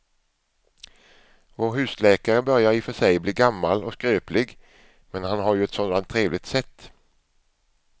Vår husläkare börjar i och för sig bli gammal och skröplig, men han har ju ett sådant trevligt sätt!